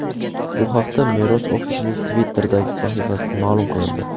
Bu haqda mer ofisining Twitter’dagi sahifasida ma’lum qilindi .